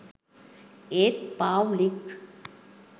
ඒත් පාව්ලික්